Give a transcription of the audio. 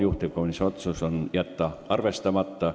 Juhtivkomisjoni otsus: jätta arvestamata.